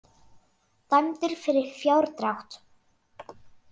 Dæmdur fyrir fjárdrátt